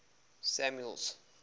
samuel's